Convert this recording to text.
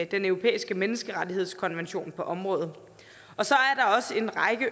den europæiske menneskerettighedskonvention på området så